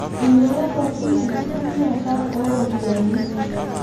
Inyalayioki enkitumiata ooropiyiani